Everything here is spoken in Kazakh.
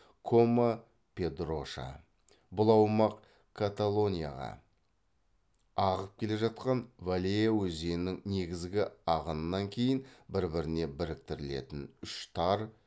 кома педроша бұл аумақ каталонияға ағып келе жатқан валеа өзенінің негізгі ағынынан кейін бір біріне біріктірілетін үш тар